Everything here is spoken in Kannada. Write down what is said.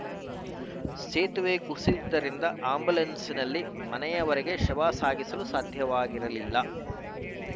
ಸೇತುವೆ ಕುಸಿದಿದ್ದರಿಂದ ಆ್ಯಂಬುಲೆನ್ಸ್‌ನಲ್ಲಿ ಮನೆವರೆಗೆ ಶವ ಸಾಗಿಸಲು ಸಾಧ್ಯವಾಗಿರಲಿಲ್ಲ